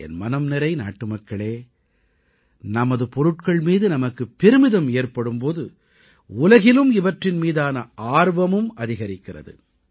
என் மனம்நிறை நாட்டுமக்களே நமது பொருட்கள் மீது நமக்கு பெருமிதம் ஏற்படும் போது உலகிலும் இவற்றின் மீதான ஆர்வமும் அதிகரிக்கிறது